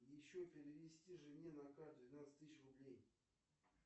еще перевести жене на карту двенадцать тысяч рублей